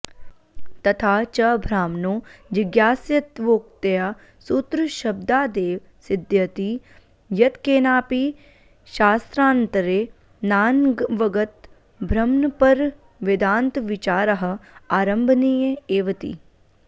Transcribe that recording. तथा च ब्रह्मणो जिज्ञास्यत्वोक्त्या सूत्रशब्दादेव सिद्ध्यति यत्केनापि शास्त्रान्तरेणानवगतब्रह्मपरवेदान्तविचारः आरम्भणीय एवेति